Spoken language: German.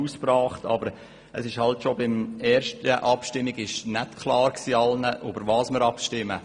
Aber bereits bei der ersten Abstimmung war nicht allen klar, worüber wir abstimmen.